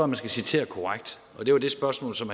man skal citere korrekt og det var det spørgsmål som